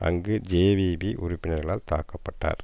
அங்கு ஜேவிபி உறுப்பினர்களால் தாக்க பட்டார்